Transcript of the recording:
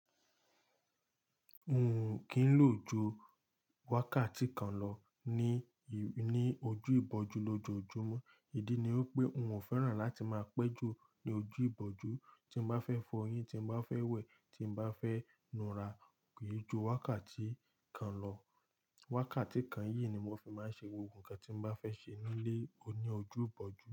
N ò kí ń lò ju wákàtí kan lọ ní, ní ojú ìbòjú lójoójúmọ́. Ìdí ni wi pé n ò fẹ́ràn láti máa pẹ́ jù ní ojú ìbòjú. Tí n bá fẹ́ fọ eyín, tí n bá fẹ́ wẹ̀, tí n bá fẹ́ nu ra, kì í ju wákàtí kan lọ. Wákàtí kan yìí ni mo fi máa ń ṣe gbogbo nkan tí n bá fẹ́ ṣe nílé oní ojú ìbòjú.